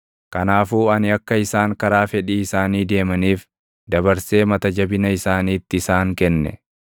Kanaafuu ani akka isaan karaa fedhii isaanii deemaniif dabarsee mata jabina isaaniitti isaan kenne.